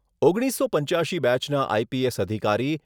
ઓગણીસસો પંચ્યાશી બેચના આઈપીએસ અધિકારી